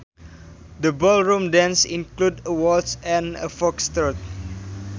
The ballroom dances included a waltz and a Foxtrot